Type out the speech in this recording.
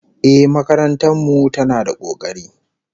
Ehh, makarantar mu tana da kokari